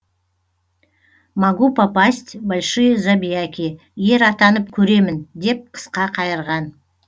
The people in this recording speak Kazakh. могу попасть в большие забияки ер атанып көремін деп қысқа қайырған